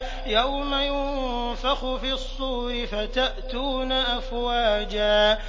يَوْمَ يُنفَخُ فِي الصُّورِ فَتَأْتُونَ أَفْوَاجًا